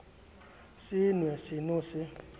se nw e seno se